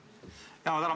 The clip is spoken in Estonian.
Ma tänan!